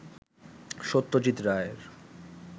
সত্যজিত রায়ের